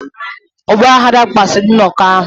Ọgbaghara kpasuru nnọkọ ahụ.